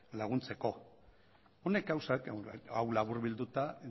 laguntzeko honek gauzak hau labur bilduta